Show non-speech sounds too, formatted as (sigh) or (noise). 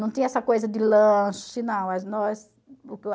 Não tinha essa coisa de lanche, não. (unintelligible)